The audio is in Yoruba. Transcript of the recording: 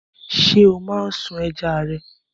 Ṣé ó máa ń sún ẹja rẹ?